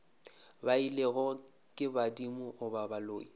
beilwego ke badimo goba baloi